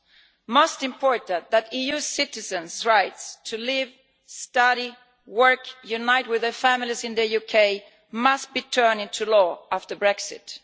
It is most important that EU citizens' right to live, study, work and unite with their families in the UK must be turned into law after Brexit.